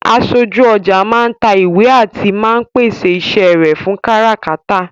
Aṣojú ọjà máa ń ta ìwé àti máa ń pèsè iṣẹ́ rẹ fún káràkátà